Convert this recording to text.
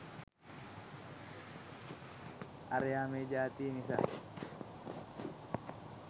අරයා මේ ජාතියේ නිසා